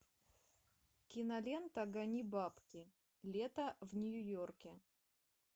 кинолента гони бабки лето в нью йорке